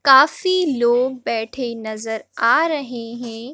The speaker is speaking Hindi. काफी लोग बैठे नज़र आ रहे हैं।